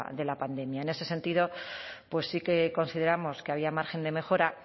de la pandemia en ese sentido pues sí que consideramos que había margen de mejora